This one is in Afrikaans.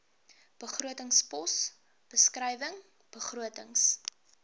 begrotingspos beskrywing begrotings